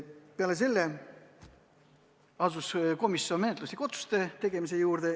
Pärast seda tegi komisjon menetluslikud otsused.